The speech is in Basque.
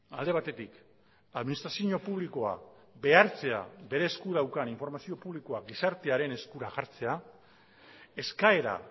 alde batetik administrazio publikoa behartzea bere esku daukan informazio publikoa gizartearen eskura jartzea eskaera